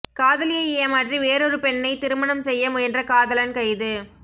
காதலியை ஏமாற்றி வேறொரு பெண்ணை திருமணம் செய்ய முயன்ற காதலன் கைது